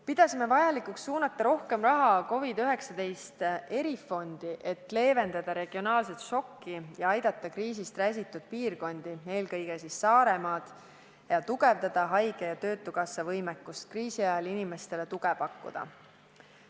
Pidasime vajalikuks suunata rohkem raha COVID-19 erifondi, et leevendada regionaalset šokki ja aidata kriisist räsitud piirkondi, eelkõige siis Saaremaad, ning suurendada haige- ja töötukassa võimekust kriisi ajal inimestele tuge pakkuda.